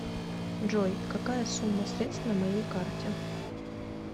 джой какая сумма средств на моей карте